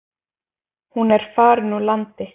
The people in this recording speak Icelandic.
Hún er farin úr landi.